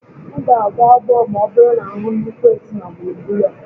M ga-agbọ agbọ ma ọ bụrụ na m hụ nnukwu esu na gburugburu ebe a